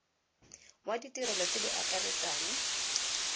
wa ditirelo tse di akaretsang